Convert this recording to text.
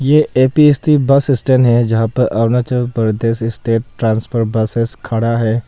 ये A P S T bus stand है जहां पर Arunachal Pradesh state transport buses खड़ा है।